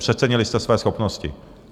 Přecenili jste své schopnosti.